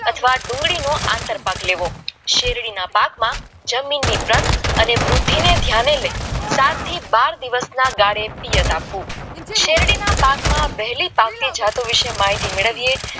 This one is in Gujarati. અથવા ડુંગળીનો આંતરપાકલો શેરડીના પાકમાં જમીનની તટ અને રોટલી ને ધ્યાને લઈ સાત થી બાર દિવસમાં આપવું શેરડીના પાકમાં વહેલો જાટ વિશે માહિતી મેળવીએ